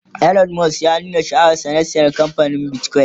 Elon Musk ya nuna sha'awar sa na saya kamfanin bitcoin